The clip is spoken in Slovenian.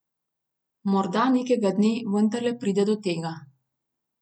Morda nekega dne vendarle pride do tega.